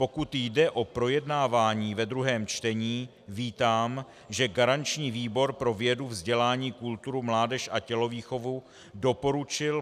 Pokud jde o projednávání ve druhém čtení, vítám, že garanční výbor pro vědu, vzdělání, kulturu, mládež a tělovýchovu doporučil